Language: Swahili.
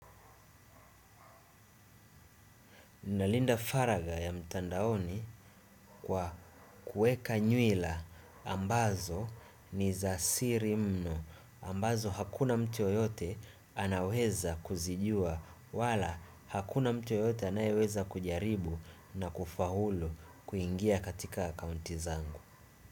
Nalinda faraga ya mtandaoni kwa kueka nywila ambazo ni za sirimno ambazo hakuna mtu yoyote anaweza kuzijua wala hakuna mtu yoyote anaweza kujaribu na kufahulu kuingia katika akaunti zangu.